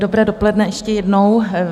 Dobré dopoledne ještě jednou.